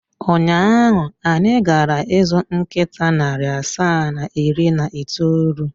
Ụnyaahụ, anyị gara ịzụ nkịta narị asaa na iri na itoolu.